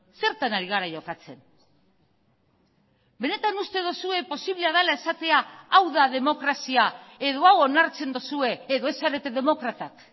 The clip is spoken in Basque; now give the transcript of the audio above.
zertan ari gara jokatzen benetan uste duzue posiblea dela esatea hau da demokrazia edo hau onartzen duzue edo ez zarete demokratak